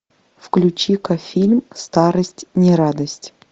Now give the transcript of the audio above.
включи ка фильм старость не радость